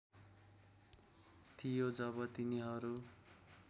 थियो जब तिनीहरू